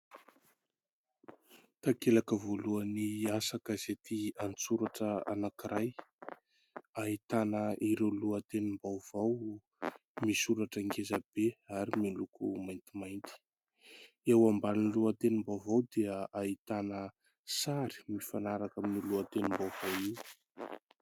Takelaka voalohany asa gazety an-tsoratra anankiray, ahitana ireo lohatenim-baovao misoratra ngezabe ary miloko maintimainty. Eo ambanin'ny lohatenim-baovao dia ahitana sary mifanaraka amin'io lohatenim-baovao io.